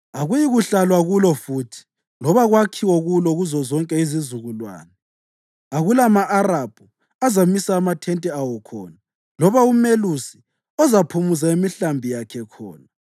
Akuyikuhlalwa kulo futhi loba kwakhiwe kulo kuzozonke izizukulwane; akulama-Arabhu azamisa amathente awo khona, loba umelusi ozaphumuza imihlambi yakhe khona.